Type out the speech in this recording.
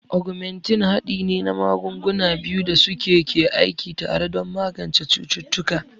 Ogmentin haɗi ne na magunguna biyu da suke ke aiki tare don magance cututtuka.